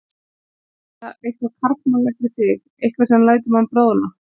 Það er eitthvað karlmannlegt við þig, eitthvað sem lætur mann bráðna.